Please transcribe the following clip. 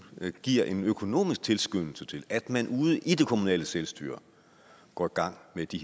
giver en økonomisk tilskyndelse til at man ude i det kommunale selvstyre går gang med det